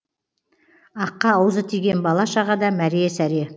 аққа аузы тиген бала шаға да мәре сәре